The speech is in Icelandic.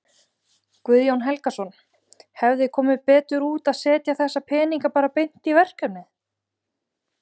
Guðjón Helgason: Hefði komið betur út að setja þessa peninga bara beint í verkefnið?